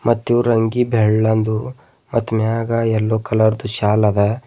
ಮತ್ತು ಇವ್ರಂಗಿ ಬೆಳ್ಳಂದು ಮತ್ ಮ್ಯಾಗ ಯೆಲ್ಲೊ ಕಲರ್ದು ಶಾಲ್ ಅದ.